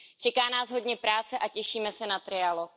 Čeká nás hodně práce a těšíme se na trialog.